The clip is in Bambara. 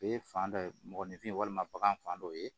Ee fan dɔ mɔgɔninfin walima bagan fan dɔ ye